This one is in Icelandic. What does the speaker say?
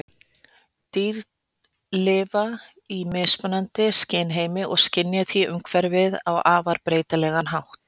Dýr lifa í mismunandi skynheimi og skynja því umhverfið á afar breytilegan hátt.